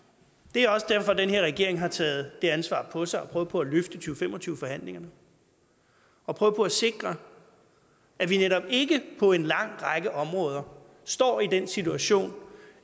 det er også derfor at den her regering har taget det ansvar på sig at prøve på at løfte to fem og tyve forhandlingerne og prøve på at sikre at vi netop ikke på en lang række områder står i den situation